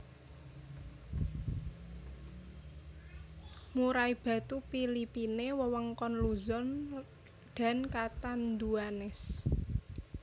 Murai batu Philippine wewengkon Luzon dan Catanduanes